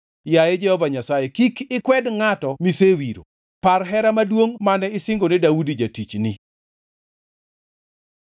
Yaye Jehova Nyasaye, kik ikwed ngʼatno misewiro. Par hera maduongʼ mane isingone Daudi jatichni.”